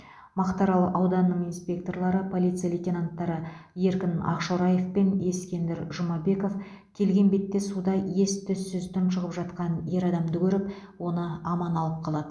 мақтаарал ауданының инспекторлары полиция лейтенанттары еркін ақшораев пен ескендір жұмабеков келген бетте суда ес түссіз тұншығып жатқан ер адамды көріп оны аман алып қалады